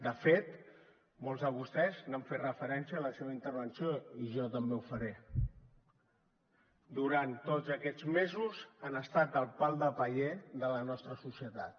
de fet molts de vostès hi han fet referència en la seva intervenció i jo també ho faré durant tots aquests mesos han estat el pal de paller de la nostra societat